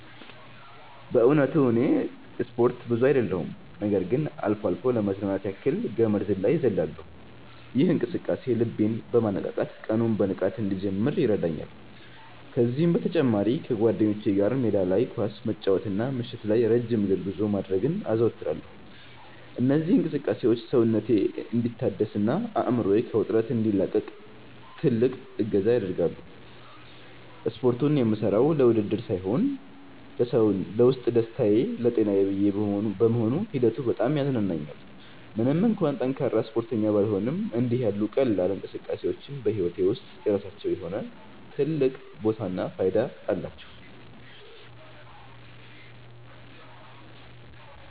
በእውነቱ እኔ ስፖርት ብዙ አይደለሁም ነገር ግን አልፎ አልፎ ለመዝናናት ያክል ገመድ ዝላይ እዘልላለሁ። ይህ እንቅስቃሴ ልቤን በማነቃቃት ቀኑን በንቃት እንድጀምር ይረዳኛል። ከዚህም በተጨማሪ ከጓደኞቼ ጋር ሜዳ ላይ ኳስ መጫወትና ምሽት ላይ ረጅም የእግር ጉዞ ማድረግን አዘወትራለሁ። እነዚህ እንቅስቃሴዎች ሰውነቴ እንዲታደስና አእምሮዬ ከውጥረት እንዲላቀቅ ትልቅ እገዛ ያደርጋሉ። ስፖርቱን የምሠራው ለውድድር ሳይሆን ለውስጥ ደስታዬና ለጤናዬ ብዬ በመሆኑ ሂደቱ በጣም ያዝናናኛል። ምንም እንኳን ጠንካራ ስፖርተኛ ባልሆንም፣ እንዲህ ያሉ ቀላል እንቅስቃሴዎች በሕይወቴ ውስጥ የራሳቸው የሆነ ትልቅ ቦታና ፋይዳ አላቸው።